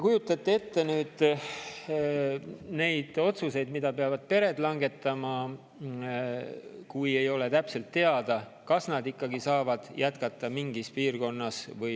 Kujutage ette neid otsuseid, mida peavad pered langetama, kui ei ole täpselt teada, kas nad saavad jätkata mingis piirkonnas.